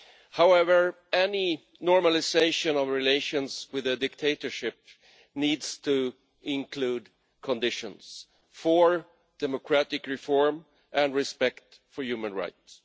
However, any normalisation of relations with a dictatorship needs to include conditions for democratic reform and respect for human rights.